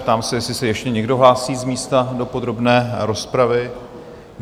Ptám se, jestli se ještě někdo hlásí z místa do podrobné rozpravy?